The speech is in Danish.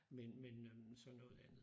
Men men øh så noget andet